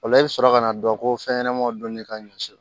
O la i bɛ sɔrɔ ka na dɔn ko fɛnɲanamanw donni ka ɲɔ si